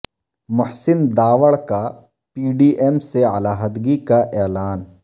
محسن داوڑ کا P D M سے علیحدگی کا اعلان